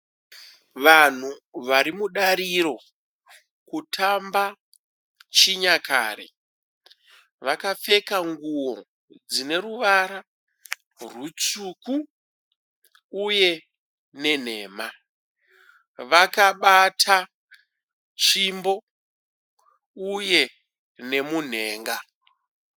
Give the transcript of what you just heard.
Vanhu varimudariro kutamba chinyakare. vakapfeka nguwo dzine ruvara rwutsvuku uye nenhema. Vakabata tsvimbo uye nemunhenga.